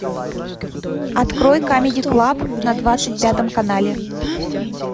открой камеди клаб на двадцать пятом канале